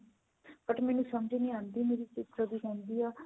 but ਮੈਨੂੰ ਸਮਝ ਨਹੀ ਆਉਂਦੀ ਮੇਰੀ sister ਵੀ ਕਹਿੰਦੀ ਆ